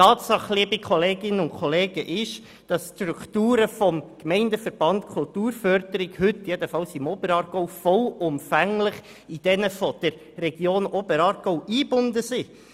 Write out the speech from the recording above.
Liebe Kolleginnen und Kollegen, es ist eine Tatsache, dass heute die Strukturen des Gemeindeverbands für die Kulturförderung, jedenfalls im Oberaargau, vollumfänglich in jene der Region Oberaargau eingebunden sind.